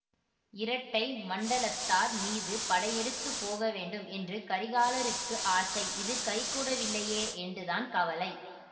இரட்டை மண்டலத்தார் மீது படையெடுத்துப் போக வேண்டும் என்று கரிகாலருக்கு ஆசை அது கைகூடவில்லையே என்றுதான் கவலை